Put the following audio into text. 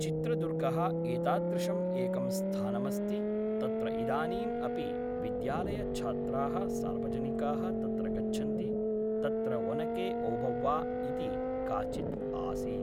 चित्रदुर्गः एतादृशम् एकं स्थानमस्ति तत्र इदानीम् अपि विद्यालयच्छात्राः सार्वजनिकाः तत्र गच्छन्ति तत्र वनके ओभव्वा इति काचित् आसीत्